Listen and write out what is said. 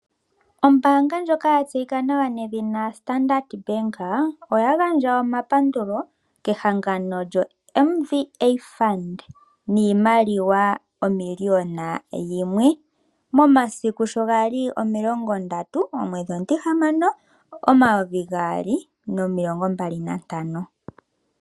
Ombaanga ndjoka yatseyika nawa nedhina Standard Bank, oya gandja omapandulo kehangano lyoMVA Fund niimaliwa oN$ 1 000 000, momasiku shogali 30/06/2025.